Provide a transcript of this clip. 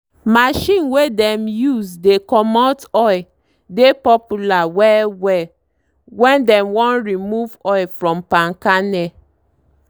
machine we dem use dey comot oil dey popular well-well wen dem wan remove oil from palm kernel.